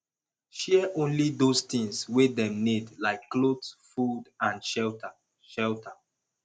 share only those things wey dem need like cloth food and shelter shelter